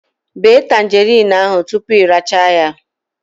Bee tangerine ahụ tupu ị rachaa ya